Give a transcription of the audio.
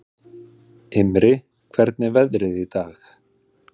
Himri, hvernig er veðrið í dag?